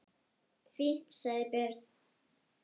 Fínt, sagði Björn.